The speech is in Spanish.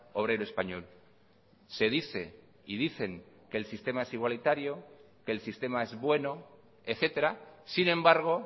obrero español se dice y dicen que el sistema es igualitario que el sistema es bueno etcétera sin embargo